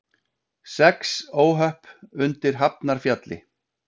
Sex óhöpp undir Hafnarfjalli